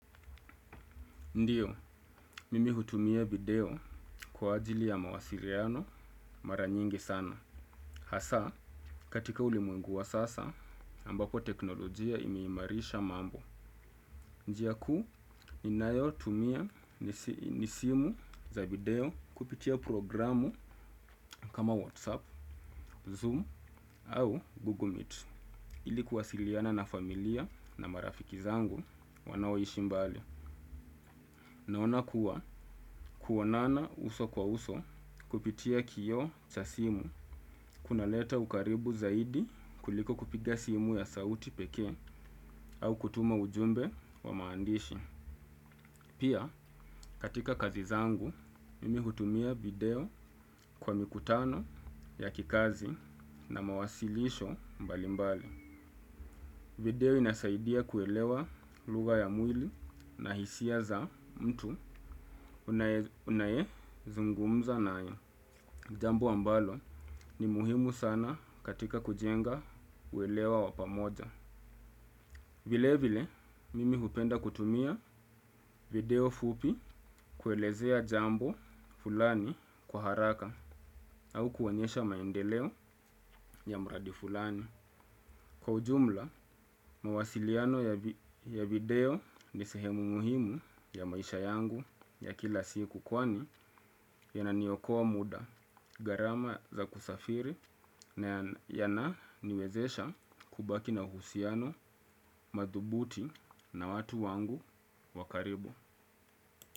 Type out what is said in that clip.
Ndio, mimi hutumia video, kwa ajili ya mawasiriano mara nyingi sana. Hasa, katika ulimwengu wa sasa, ambako teknolojia imeimarisha mambo. Njia kuu, ninayo tumia, nisimu za video, kupitia programu kama WhatsApp, Zoom au Google Meet. Ili kuwasiliana na familia na marafiki zangu, wanaoishi mbali. Naona kuwa, kuonana uso kwa uso, kupitia kioo cha simu, kuna leta ukaribu zaidi, kuliko kupiga simu ya sauti pekee. Au kutuma ujumbe, wa maandishi. Pia, katika kazi zangu, mimi hutumia video kwa mikutano ya kikazi na mawasilisho mbali mbali. Video inasaidia kuelewa lugha ya mwili na hisia za, mtu unaye zungumza naye. Jambo ambalo, ni muhimu sana katika kujenga uelewa wapamoja. Vile vile, mimi hupenda kutumia, video fupi kuelezea jambo, fulani kwa haraka, au kuonyesha maendeleo ya mradi fulani. Kwa ujumla, mawasiliano ya video nisehemu muhimu, ya maisha yangu, ya kila siku kwani, yananiokoa muda garama za kusafiri, na yana niwezesha, kubaki na husiano madhubuti na watu wangu, wakaribu.